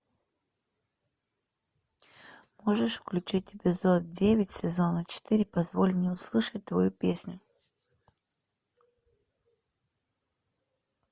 можешь включить эпизод девять сезона четыре позволь мне услышать твою песню